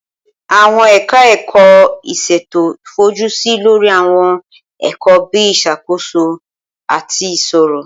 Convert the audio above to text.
Awọn eka-eko ìsètò fojusi lori Awon èkò bi isakoso, ati iṣiro.